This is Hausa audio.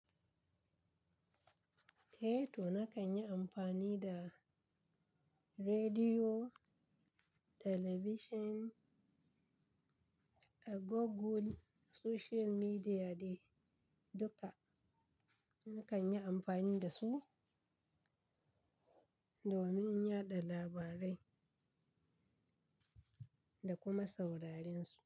Eh to na kan yi amfani da rediyo, telebishin, agogul, soshiyal midiya da duka. Nakan yi amfani da su domin yada labarai da kuma sauraren su.